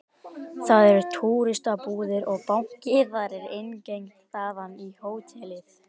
Þar eru túristabúðir og banki og það er innangengt þaðan í hótelið